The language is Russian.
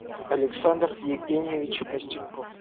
александр евгеньевич костюньков